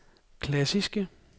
klassiske